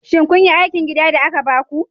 Shin kun yi aikin gida da aka baku?